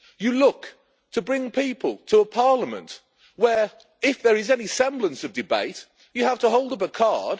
You look to bring people to a parliament where, if there is any semblance of debate you have to hold up a card.